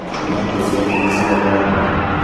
iratũ ciake nĩciathambio